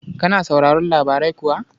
Kana sauraron labarai kuwa?